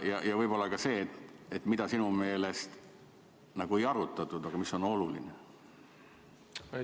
Ja võib-olla ka selline küsimus: mis teemat nagu ei arutatud, aga mis sinu meelest on oluline?